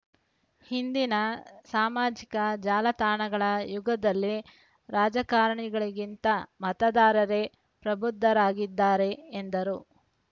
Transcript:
ಇಂದಿನ ಸಾಮಾಜಿಕ ಜಾಲ ತಾಣಗಳ ಯುಗದಲ್ಲಿ ರಾಜಕಾರಣಿಗಳಿಗಿಂತ ಮತದಾರರೇ ಪ್ರಬುದ್ಧರಾಗಿದ್ದಾರೆ ಎಂದರು